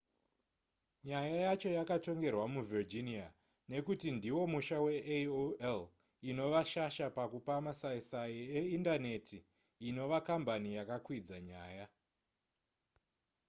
nyaya yacho yakatongerwa muvirginia nekuti ndiwo musha veaol inova shasha pakupa masaisai eindaneti inova kambani yakakwidza nyaya